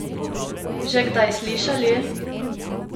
Že kdaj slišali?